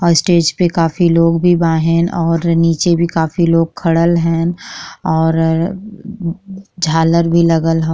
औ स्टेज पे काफी लोग भी बा हेन और नीचे भी काफी लोग खड़ल हैन और झारल भी लगल ह।